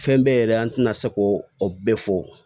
Fɛn bɛɛ yɛrɛ an tɛna se ko o bɛɛ fɔ